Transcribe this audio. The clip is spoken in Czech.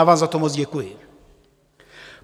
Já vám za to moc děkuji.